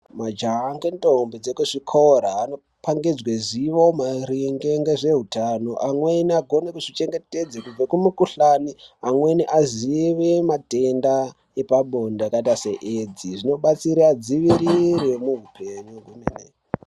Majaya ngentombi zvekuzvikora anopa ngezveruzivo maringe ngezvehutano. Amweni agone kuzvichengetedza kubva kumukuhlani. Amweni azive madenda epabonde akadai seAIDS, zvinobatsira adzivirire muhupenyu.